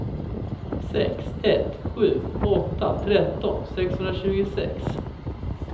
sex ett sju åtta tretton sexhundratjugosex